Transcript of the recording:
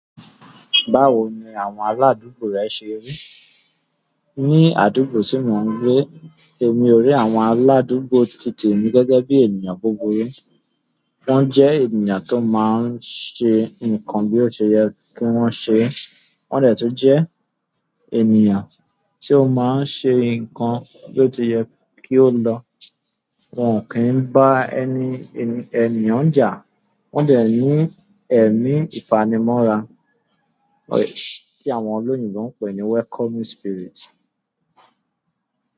Báwo ni àwọn aládùúgbò rẹ ṣe rí? Ní àdúgbò tí mò ń gbé, èmi o rí àwọn aládùúgbò titè mi gẹ́gẹ́ bí ènìyàn búburú. Wọ́n jẹ́ ènìyàn tó máa ń ṣe nǹkan bí ó ṣe yẹ kí wọ́n ṣe é, wọ́n dẹ̀ tun jẹ́ ènìyàn tí ó máa ń ṣe nǹkan bi oti yẹ kí ó lọ. Wọn kì í bá ẹni ènìyàn jà, wọn dẹ̀ ní ẹ̀mí ìfanimọ́ra tí àwọn olóyinbo ń pè ní welcoming spirit.